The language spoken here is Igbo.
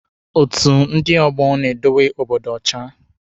Otu ndị ọgbọ na-edowe Obodo ọcha.